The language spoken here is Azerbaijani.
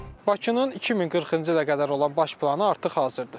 Bakının 2040-cı ilə qədər olan baş planı artıq hazırdır.